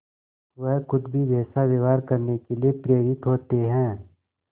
वह खुद भी वैसा व्यवहार करने के लिए प्रेरित होते हैं